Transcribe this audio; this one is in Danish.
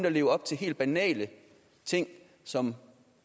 at leve op til helt banale ting som